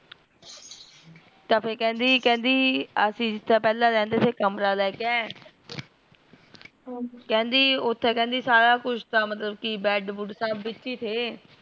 ਤਾ ਫੇਰ ਕਿਹੰਦੀ ਕਹਿੰਦੀ ਜਿੱਥੇ ਅਸੀਂ ਰਿਹੰਦੇ ਥੈ ਕਮਰਾ ਲੈਕੇ ਕਿਹੰਦੀ ਉੱਥੇ ਕੇਹਂਦੀ ਸਾਰਾ ਕੁਜ ਤਾ ਮਤਲਬ ਕੀ bed ਬੁੜ ਸਬ ਕੁਜ ਵਿਚੀ ਥੇ